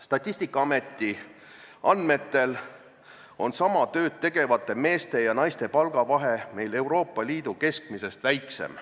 Statistikaameti andmetel on sama tööd tegevate meeste ja naiste palgavahe meil Euroopa Liidu keskmisest väiksem.